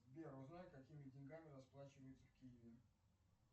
сбер узнай какими деньгами расплачиваются в киеве